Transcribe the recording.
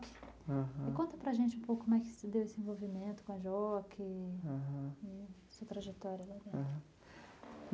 E conta para gente um pouco mais desse envolvimento com a JOC e sua trajetória lá dentro.